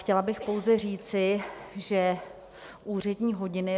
Chtěla bych pouze říci, že úřední hodiny...